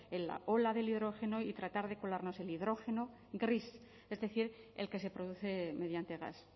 la ola del hidrógeno y tratar de colarnos el hidrógeno gris es decir el que se produce mediante gas